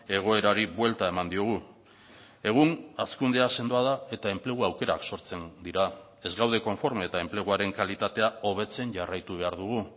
egoerari buelta eman diogu egun hazkundea sendoa da eta enplegu aukerak sortzen dira ez gaude konforme eta enpleguaren kalitatea hobetzen jarraitu behar dugu